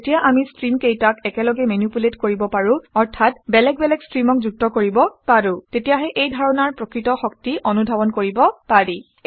কিন্তু যেতিয়া আমি ষ্টীমকেইটাক একেলগে মেনিপুলেট কৰিব পাৰোঁ অৰ্থাৎ বেলেগ বেলেগ ষ্ট্ৰীমক যুক্ত কৰিব পাৰোঁ তেতিয়াহে এই ধাৰণাৰ প্ৰকৃত শক্তি অনুধাৱন কৰিব পাৰি